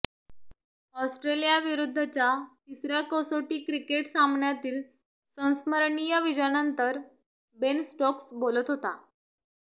ऑस्ट्रेलियाविरुद्धच्या तिसऱया कसोटी क्रिकेट सामन्यातील संस्मरणीय विजयानंतर बेन स्टोक्स बोलत होता